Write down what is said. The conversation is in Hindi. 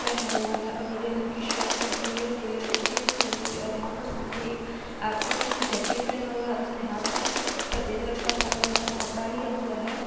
पहना हुआ है और नीले रंग की शर्ट पहनी हुई है और नीले रंग की जींस पहनी हुई है और यहां पर सामने एक आदमी है जो जैकेट पहना हुआ है उसने हाथ में कुछ सफेद रंग का सा अ कपड़ा लिया हुआ है ।